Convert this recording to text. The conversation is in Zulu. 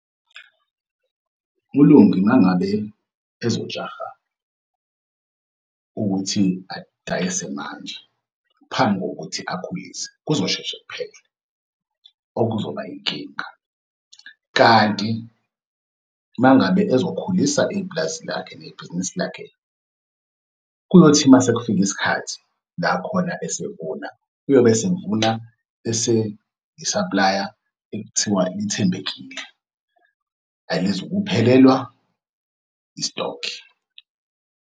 ULungi uma ngabe ezojaha ukuthi adayise manje, phambi kokuthi akhulise, kuzosheshe kuphele okuzoba inkinga kanti uma ngabe ezokhulisa ipulazi lakhe nebhizinisi lakhe. Kuyothi uma sekufika isikhathi la khona esevuna, uyobe esevuna eseyisaplaya ekuthiwa ithembekile, alizukuphelelwa i-stock.